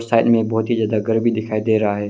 घर में बहुत ही ज्यादा गर्मी दिखाई दे रहा है।